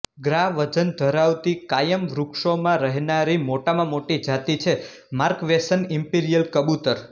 ગ્રા વજન ધરાવતી કાયમ વૃક્ષોમાં રહેનારી મોટામાં મોટી જાતી છે માર્ક્વેસન ઇમ્પેરીયલ કબૂતર